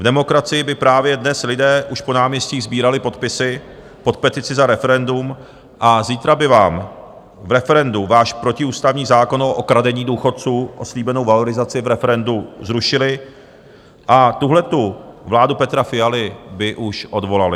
V demokracii by právě dnes lidé už po náměstích sbírali podpisy pod petici za referendum a zítra by vám v referendu váš protiústavní zákon o okradení důchodců o slíbenou valorizaci v referendu zrušili a tuhletu vládu Petra Fialy by už odvolali.